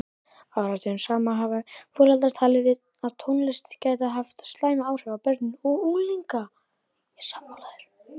Áratugum saman hafa foreldrar talið að tónlist gæti haft slæm áhrif á börn og unglinga.